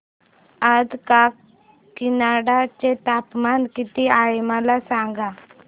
आज काकीनाडा चे तापमान किती आहे मला सांगा